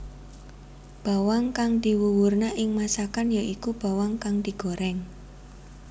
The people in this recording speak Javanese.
Bawang kang diwuwurna ing masakan ya iku bawang kang digorèng